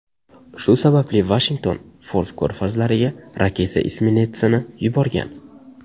Shu sababli Vashington Fors ko‘rfaziga raketa isminetsini yuborgan.